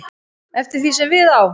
eftir því sem við á.